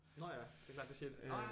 Nå ja det er klart det siger de nå ja